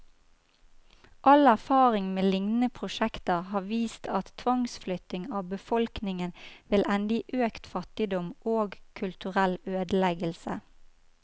All erfaring med lignende prosjekter har vist at tvangsflytting av befolkningen vil ende i økt fattigdom, og kulturell ødeleggelse.